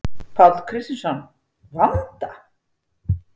Páll Kristjánsson: Vanda?